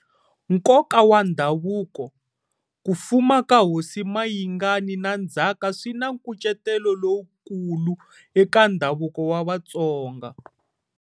Nkoka wa Ndhavuko-Ku fuma ka hosi Mayingani na ndzhaka swi na nkucetelo lowukulu eka ndhavuko wa Vatsonga.